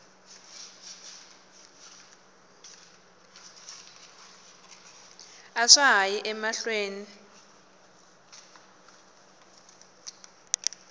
a swa ha yi emahlweni